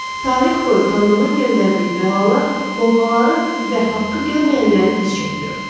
Tarix boyu Tanrının göndərdiyi bəlalar Lovğaları və haqqı görməyənləri diz çökdürüb.